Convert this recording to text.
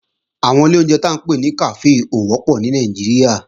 Àwọn ilé ìjẹun tí à ń pè ní kàfé ò wọ́pọ̀ ní Nàìjíríà